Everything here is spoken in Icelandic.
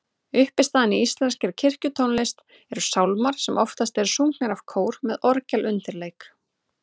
Uppistaðan í íslenskri kirkjutónlist eru sálmar sem oftast eru sungnir af kór með orgelundirleik.